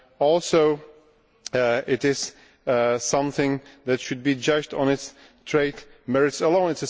also, it is something that should be judged on its trade merits alone.